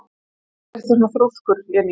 Af hverju ertu svona þrjóskur, Jenný?